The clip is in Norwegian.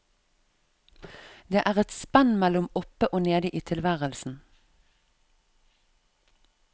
Det er et spenn mellom oppe og nede i tilværelsen.